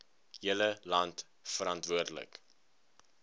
hele land verantwoordelik